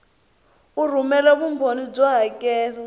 u rhumela vumbhoni byo hakela